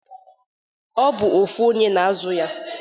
O bu ofu onye na-azụ ya.